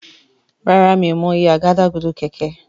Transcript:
Ràrá mi'o mọ iye Àgádágodo kẹ̀kẹ́.